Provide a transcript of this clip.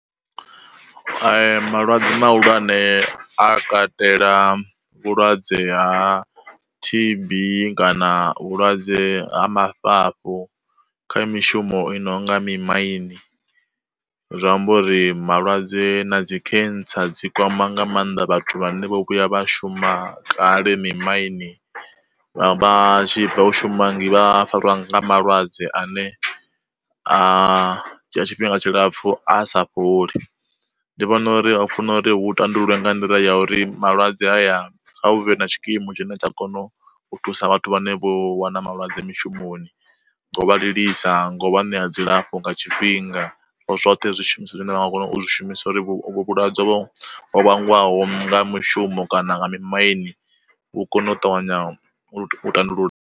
Malwadze ma hulwane a katela vhulwadze ha tb kana vhulwadze ha mafhafhu kha mishumo i nonga mi maini. Zwi amba uri malwadze na dzi khentsa dzi kwama nga mannḓa vhathu vhane vho vhuya vha shuma kale mi maini vha tshi fhedza u shuma vha fariwa nga malwadze ane a dzhia tshifhinga tshilapfu a sa fholi, ndi vhona uri a funa uri hu tandululwa nga nḓila ya uri malwadze a ya kha hu vhe na tshikimu tshine tsha kono u thusa vhathu vhane vho wana malwadze mishumoni ngo vha livhisa, ngo vha ṋea dzilafho nga tshifhinga, zwoṱhe zwi shumiswa zwine vha nga kona u zwi shumiswa uri vhulwadze vhangwaho nga mishumo kana nga mi maini vhu kono u ṱavhanya u tandulula.